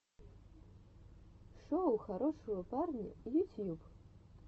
шоу хорошего парня ютьюб